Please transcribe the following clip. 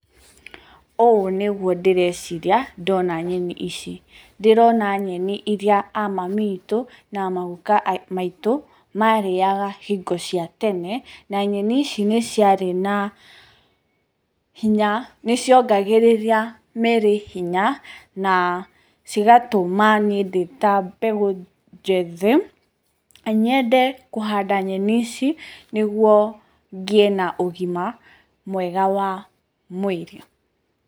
Ũũ nĩguo ndĩreciria ndona nyeni ici, ndĩrona nyeni iria a mami witũ na maguka maitũ marĩaga hingo cia tene. Na nyeni ici nĩ ciarĩ na hinya, nĩ ciongagĩrĩra mĩrĩ hinya na cigatũma niĩ ndĩta mbeũ njĩthĩ nyende kũhanda nyeni ici, nĩguo ngĩe na ũgima mwega wa mwĩrĩ.